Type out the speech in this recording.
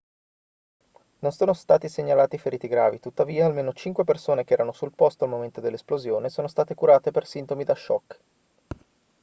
non sono stati segnalati feriti gravi tuttavia almeno cinque persone che erano sul posto al momento dell'esplosione sono state curate per sintomi da shock